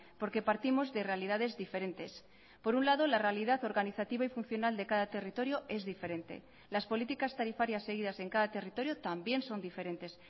porque partimos de realidades diferentes por un lado la realidad organizativa y funcional de cada territorio es diferente las políticas tarifarias seguidas en cada territorio también son diferentes